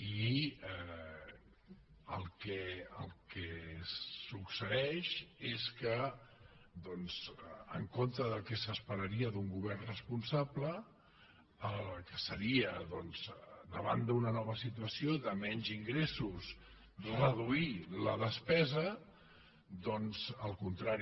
i el que succeeix és en contra del que s’esperaria d’un govern responsable que seria davant d’una nova situació de menys ingressos reduir la despesa doncs el contrari